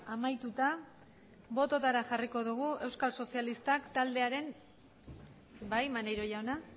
amaituta bototara jarriko dugu euskal sozialistak taldearen bai maneiro jauna